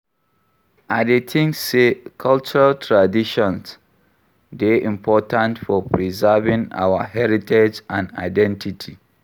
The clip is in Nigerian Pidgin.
I dey think say cultural traditons dey important for preserving our heritage and identity.